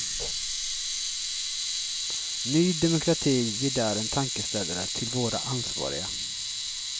Ny demokrati ger där en tankeställare till våra ansvariga.